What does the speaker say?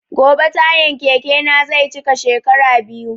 Gobe tayan keke na zai cika shekara biyu